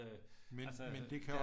Øh altså